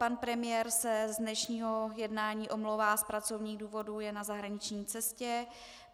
Pan premiér se z dnešního jednání omlouvá z pracovních důvodů, je na zahraniční cestě.